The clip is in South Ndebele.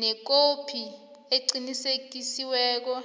nekhophi eqinisekisiweko